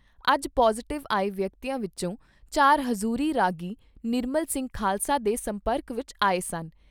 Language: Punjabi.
ਅੱਜ ਪੌਜ਼ਿਟਿਵ ਆਏ ਵਿਅਕਤੀਆਂ ਵਿਚੋਂ ਚਾਰ ਹਜ਼ੂਰੀ ਰਾਗੀ ਨਿਰਮਲ ਸਿੰਘ ਖਾਲਸਾ ਦੇ ਸੰਪਰਕ ਵਿਚ ਆਏ ਸਨ।